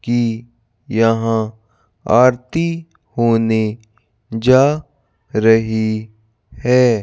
की यहां आरती होने जा रही है।